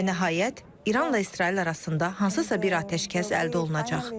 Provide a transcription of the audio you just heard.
Və nəhayət, İranla İsrail arasında hansısa bir atəşkəs əldə olunacaq.